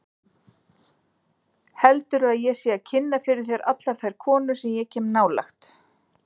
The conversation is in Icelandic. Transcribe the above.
Heldurðu að ég sé að kynna fyrir þér allar þær konur sem ég kem nálægt?